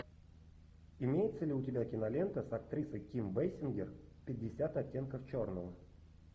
имеется ли у тебя кинолента с актрисой ким бейсингер пятьдесят оттенков черного